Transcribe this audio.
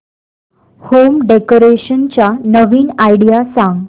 home decoration च्या नवीन idea सांग